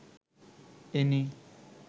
any